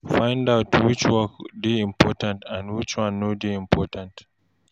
Find out which work dey important and which one no dey important